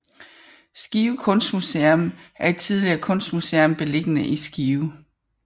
Skive Kunstmuseum er et tidligere kunstmuseum beliggende i Skive